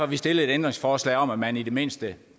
vi stillet et ændringsforslag om at man i det mindste